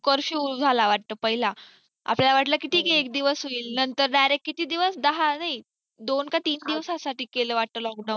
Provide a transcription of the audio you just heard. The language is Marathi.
corfiue झालं वाटतं पहिला आपल्याला वाटले की ठीक आहे एक दिवस होईल नंतर direct किती दिवस दहा नाही दोन का तीन दिवसासाठी केल वाटते lockdown